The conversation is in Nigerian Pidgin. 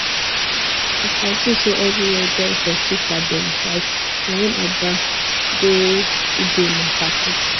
as i see say everywhere dull for chika dem side na im i branch go ugonna party